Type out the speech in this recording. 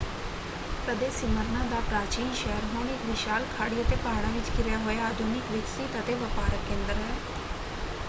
ਕਦੇ ਸੀਮਰਨਾ ਦਾ ਪ੍ਰਾਚੀਨ ਸ਼ਹਿਰ ਹੁਣ ਇੱਕ ਵਿਸ਼ਾਲ ਖਾੜੀ ਅਤੇ ਪਹਾੜਾਂ ਵਿੱਚ ਘਿਰਿਆ ਹੋਇਆ ਆਧੁਨਿਕ ਵਿਕਸਿਤ ਅਤੇ ਵਪਾਰਕ ਕੇਂਦਰ ਹੈ।